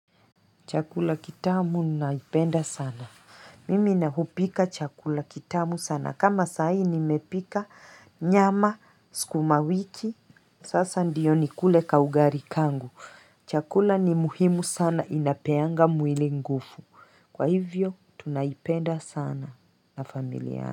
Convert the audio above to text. Chakula kitamu naipenda sana. Mimi na hupika chakula kitamu sana. Kama saa hii nimepika nyama, sukuma wiki. Sasa ndio nikule kaugali kangu. Chakula ni muhimu sana inapeanga mwili nguvu. Kwa hivyo, tunaipenda sana na familia.